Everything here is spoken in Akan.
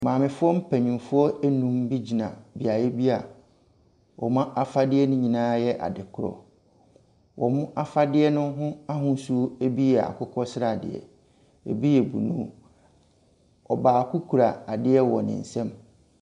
Mamefoɔ mpanimfoɔ nnum bi gyina beaeɛ bi a wɔn afadeɛ nyinaa yɛ adekorɔ. Wɔan afadeɛ no ho ahosuo bi yɛ akokɔsradeɛ. Ɛbi yɛ blue. Ɔbaako kura adeɛ wɔ ne nsam.